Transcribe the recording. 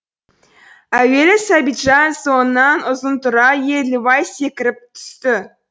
әуелі сәбитжан соңынан ұзынтұра еділбай секіріп түсті